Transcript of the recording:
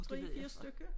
3 4 stykker